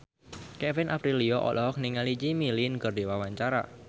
Kevin Aprilio olohok ningali Jimmy Lin keur diwawancara